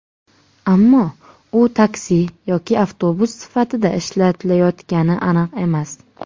Ammo u taksi yoki avtobus sifatida ishlatilayotgani aniq emas.